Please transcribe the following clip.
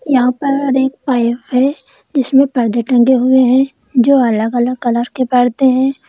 यहां पर एक पाइप है जिसमें पर्दे टंगे हुए हैं जो अलग अलग कलर के पर्दे हैं।